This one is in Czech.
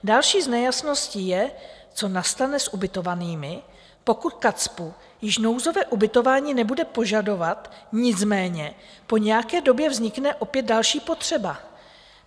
Další z nejasností je, co nastane s ubytovanými, pokud KACPU již nouzové ubytování nebude požadovat, nicméně po nějaké době vznikne opět další potřeba.